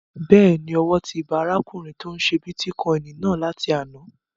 Bẹ́ẹ̀ni, owó ti ba arákùnrin tó n ṣe bítíkọ́ìnì náà láti àná